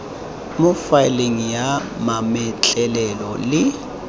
mo faeleng ya mametlelelo le